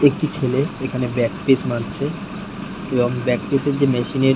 একটি ছেলে এখানে ব্যাকপিস মারছে এবং ব্যাক পিসের যে মেশিন -এর --